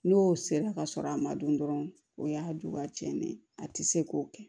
N'o sera ka sɔrɔ a ma dun dɔrɔn o y'a don ka cɛnni ye a tɛ se k'o kɛ